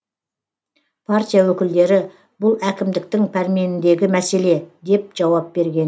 партия өкілдері бұл әкімдіктің пәрменіндегі мәселе деп жауап берген